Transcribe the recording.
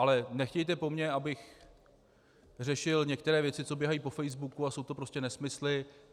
Ale nechtějte po mně, abych řešil některé věci, co běhají po facebooku a jsou to prostě nesmysly.